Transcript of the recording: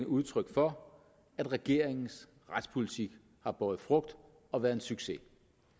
udtryk for at regeringens retspolitik har båret frugt og været en succes